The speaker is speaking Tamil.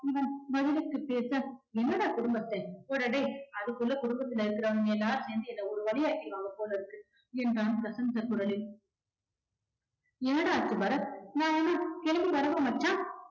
பதிலுக்கு பேச என்னடா குடும்பஸ்தன் போடா டேய் அதுக்குள்ள குடும்பத்துல இருக்குறவங்க எல்லாம் சேர்ந்து என்ன ஒரு வழி ஆக்கிடுவாங்க போலருக்கு என்றான் கசந்த குரலில் என்னடா ஆச்சு பரத் நான் வேணும்னா கிளம்பி வரவா மச்சான்